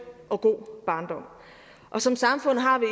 og god barndom og som samfund har vi